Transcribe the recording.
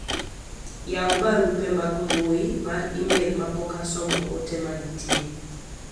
yawu barupe mag mbui mar email ma pok asomo ote manitie